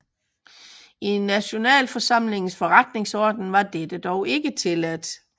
I Nationalforsamlingens forretningsorden var dette dog ikke tilladt